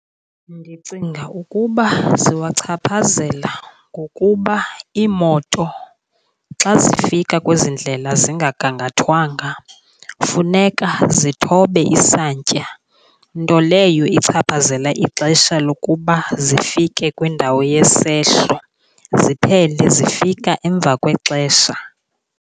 Ndicinga ukuba ziwachaphazela ngokuba iimoto xa zifika kwezi ndlela zingagangathwanga funeka zithobe isantya nto leyo ichaphazela ixesha lokuba zifike kwindawo yesehlo, ziphele zifika emva kwexesha.